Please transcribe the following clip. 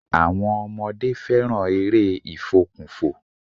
Àwọmn ọmọdé fẹràn eré ìfòkùnfò.